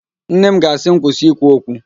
Nne m ga-asị m, kwụsị ikwu okwu